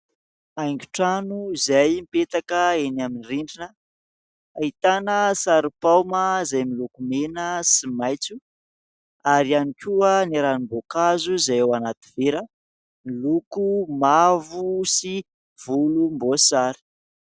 Haingon-trano izay mipetraka amin'ny rindrina ahitana sary paoma izay miloko mena sy maitso ary ihany koa ny ranom-boankazo izay ao anaty vera, miloko mavo sy volomboasary.